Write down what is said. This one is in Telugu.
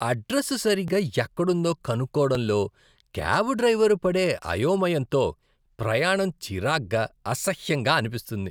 అడ్రస్ సరిగ్గా ఎక్కడుందో కనుక్కోవడంలో క్యాబ్ డ్రైవర్ పడే అయోమయంతో ప్రయాణం చిరాగ్గా, అసహ్యంగా అనిపిస్తుంది.